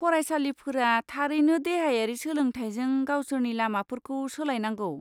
फरायसालिफोरा थारैनो देहायारि सोलोंथाइजों गावसोरनि लामाफोरखौ सोलायनांगौ।